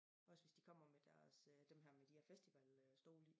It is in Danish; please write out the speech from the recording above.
Også hvis de kommer med deres øh dem her med de her festival øh stole